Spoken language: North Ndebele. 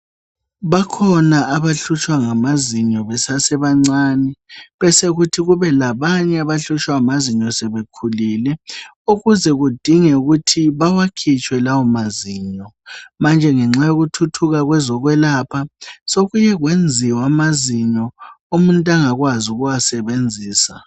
Bakhona abahlutshwa ngamazinyo besase bancane besokuthi kube labanye abahlutshwa ngamazinyo sebekhulile. Okuze kudingeke ukuthi bawakhitshwe lawo mazinyo manje ngenxa yokuthuthuka kwezo kwelapha sokuye kwenziwa amazinyo umuntu angakwazi ukuwasebenzisa.